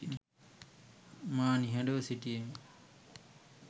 මා නිහඩව සිටියෙමි